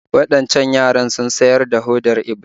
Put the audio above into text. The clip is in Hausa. Waɗancan yaran sun siyar da hodar Iblis